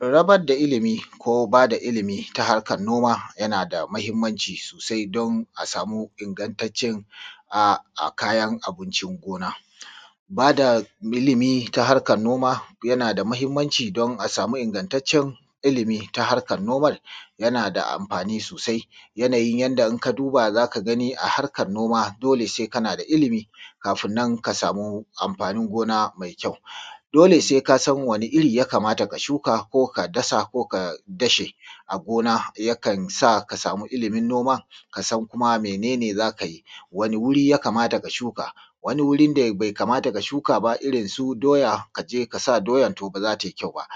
Raba da ilimi ko ba da ilimi ta harkar noma yana da matuƙar mahimmanci sosai, don a samu ingattacen kayan abiⁿcin gona. Ba da ilimi ta harkar noma na da matuƙar mahiⁿmanci, don a samu ingattacen ilimi ta harkar noman yana da amfani sosai. Yanayi indai ka duba, za ka gani. A harkar noma, dole sai kana da ilimi, kafin nan ka samu amfanin gona mai ƙyau. Dole sai ka san wani iri ya kamata ka shuka, ko ka dasa, ko ka dashe a gona. Yakan sa ya samu ilimin gona, ka san kuma mene ne za ka yi. Wani wuri ya kamata ka shuka, wani wurin da ba ya kamata ka shuka ba. Irin su doya, ka je ka sa doya, to ba za ta yi ƙyau ba, ko